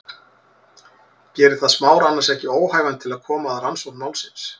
Gerir það Smára annars ekki óhæfan til að koma að rannsókn málsins?